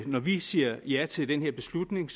når vi siger ja til den her beslutning